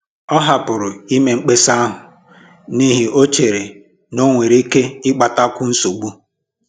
Ọ hapụrụ ime mkpesa ahụ n'ihi o chere n'onwere ike ịkpatakwu nsogbu